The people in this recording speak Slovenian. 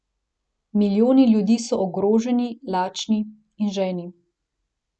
Milijoni ljudi so ogroženi, lačni in žejni.